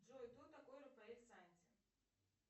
джой кто такой рафаэль санти